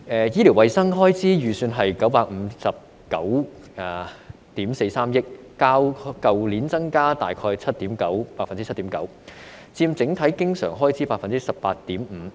醫療衞生開支預算是959億 4,300 萬元，較去年增加大概 7.9%， 佔整體經常開支 18.5%。